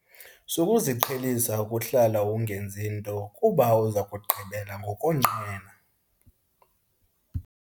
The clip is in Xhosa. Sukuziqhelisa ukuhlala ungenzi nto kuba uza kugqibela ngokonqena.